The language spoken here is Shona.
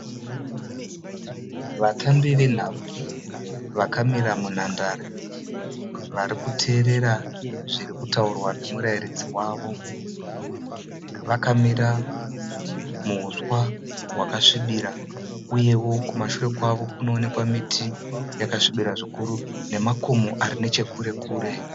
Vatambi venhabvu vakamira munhandare varikuteerera zviri kutaurwa nemurairidzi wavo , vakamira muhuswa hwaka svibibira. Uyevo kumashure kwavo kunoonekwa miti yakasvibira zvikuru uye nemakomo ari neche kure kure.